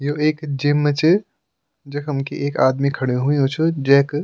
यु एक जिम च जखम की एक आदमी खडू हुयुं च जैक --